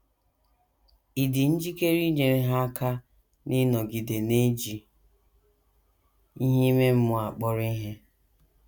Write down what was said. Ị̀ dị njikere inyere ha aka n’ịnọgide na - eji ihe ime mmụọ akpọrọ ihe?